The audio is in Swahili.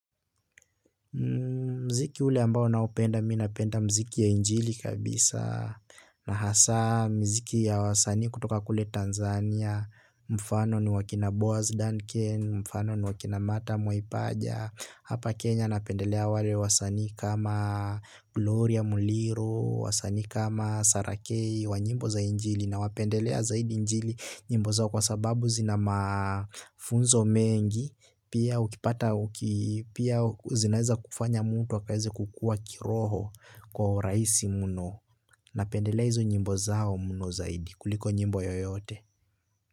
Mziki ule ambao naupenda mimi napenda mziki ya injili kabisa. Na hasa miziki ya wasanii kutoka kule Tanzania Mfano ni wa kina Boaz Duncan, mfano ni wa kina Martha Moipaja. Hapa Kenya napendelea wale wasanii kama Gloria Muliro, Wasani kama Sarah k wa nyimbo za njili. Nawapendelea zaidi injili nyimbo zao kwa sababu zina mafunzo mengi. Pia zinaweza kufanya mtu akaweze kukua kiroho kwa urahisi mno. Napendelea hizo nyimbo zao mno zaidi kuliko nyimbo yoyote.